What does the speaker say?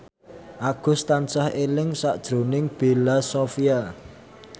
Agus tansah eling sakjroning Bella Shofie